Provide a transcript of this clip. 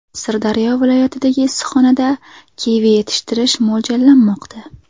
Sirdaryo viloyatidagi issiqxonada kivi yetishtirish mo‘ljallanmoqda.